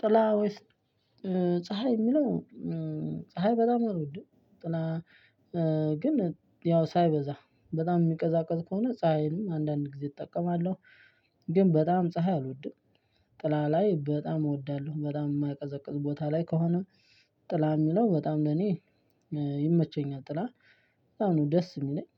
ጥላ ወይስ ፀሀይ የሚለው ፀሀይ በጣም ነው አልወድም ጥላ ግን ያው ሳይበዛ በጣም የሚቀዛቀዝ ከሆነ ፀሀይንም አንዳንድ ጊዜ እጠቀማለሁ። ግን በጣም ፀሀይ አልወድም። ጥላ ላይ በጣም እወዳለሁ በጣም የማይቀዘቅዝ ቦታ ላይ ከሆነ ጥላ የሚለው በጣም ለእኔ ይመቸኛል። ጥላ በጣም ነው ደስ የሚለኝ።